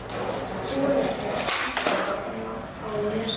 Kolur hans Gústa gamla á Nesi.